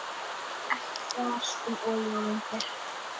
Ekkert þras um olíulindir.